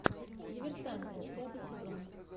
диверсанты пятый сезон